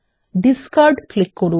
discard click করুন